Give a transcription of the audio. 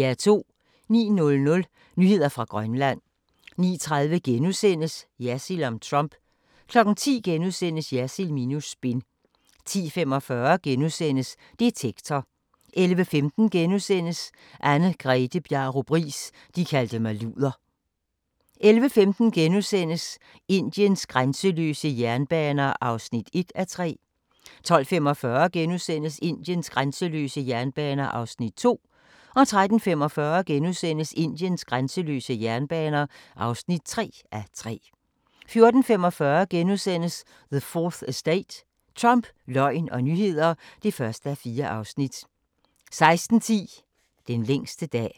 09:00: Nyheder fra Grønland 09:30: Jersild om Trump * 10:00: Jersild minus spin * 10:45: Detektor * 11:15: Anne-Grethe Bjarup Riis – de kaldte mig luder * 11:45: Indiens grænseløse jernbaner (1:3)* 12:45: Indiens grænseløse jernbaner (2:3)* 13:45: Indiens grænseløse jernbaner (3:3)* 14:45: The 4th Estate – Trump, løgn og nyheder (1:4)* 16:10: Den længste dag